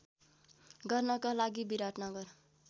गर्नका लागि विराटनगर